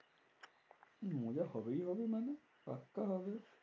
হম মজা হবেই হবে মানে? পাক্কা হবে।